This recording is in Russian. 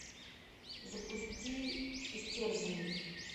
запусти истерзанный